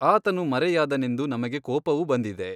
ಆತನು ಮರೆಯಾದನೆಂದು ನಮಗೆ ಕೋಪವು ಬಂದಿದೆ.